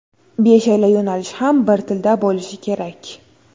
Beshala yo‘nalish ham bir xil tilda bo‘lishi kerak.